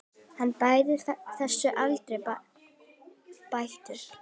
Jason og Medea.